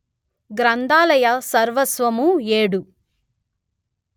గ్రంథాలయ సర్వస్వము ఏడు